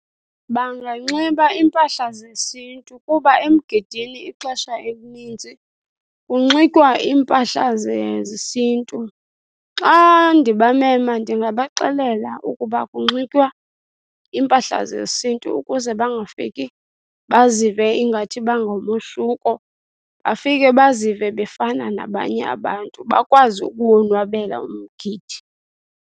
Banganxiba iimpahla zesiNtu kuba emgidini ixesha elininzi kunxitywa iimpahla zesiNtu. Xa ndibamema ndingabaxelela ukuba kunxitywa iimpahla zesiNtu ukuze bangafiki bazive ingathi bangomohluko, bafike bazive bafana nabanye abantu bakwazi ukuwonwabela umgidi.